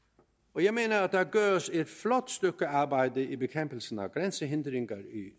og jeg mener at der gøres et flot stykke arbejde i bekæmpelsen af grænsehindringer i